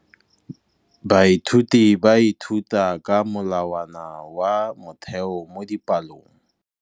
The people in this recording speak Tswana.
Baithuti ba ithuta ka molawana wa motheo mo dipalong.